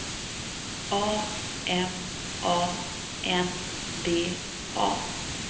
A M A N D A